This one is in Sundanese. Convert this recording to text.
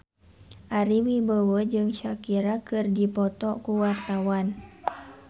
Ari Wibowo jeung Shakira keur dipoto ku wartawan